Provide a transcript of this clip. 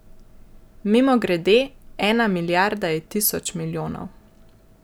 Mimogrede, ena milijarda je tisoč milijonov.